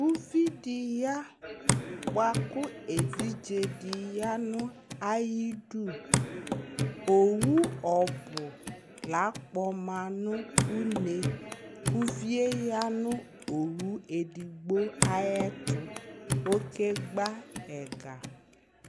Uvidi ya bʋa kʋ evidze dɩ ya nʋ ayidu Owʋ ɔbʋ la'kpɔma nʋ une k'uvi yɛ ya nʋ owu edigbo ayɛtʋ, okegba ɛga